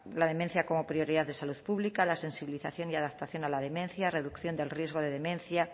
la demencia como prioridad de salud pública la sensibilización y adaptación a la demencia reducción del riesgo de demencia